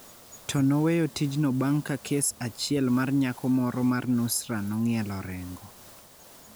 to noweyo tijno bang’ ka kes achiel mar nyako moro mar Nusra nong'ielo rengo.